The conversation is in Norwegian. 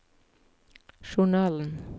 journalen